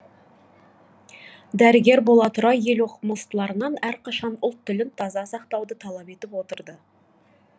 дәрігер бола тұра ел оқымыстыларынан әрқашан ұлт тілін таза сақтауды талап етіп отырды